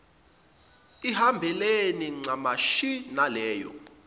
ihambelane ncamashi naleyo